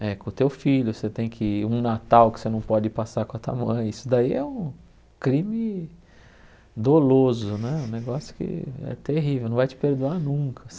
É, com o teu filho, você tem que um Natal que você não pode passar com a tua mãe, isso daí é um crime doloso né, um negócio que é terrível, não vai te perdoar nunca.